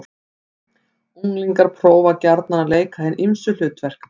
Unglingar prófa gjarnan að leika hin ýmsu hlutverk.